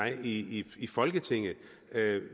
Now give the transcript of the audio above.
i i folketinget